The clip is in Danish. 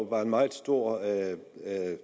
var en meget stor beundrer af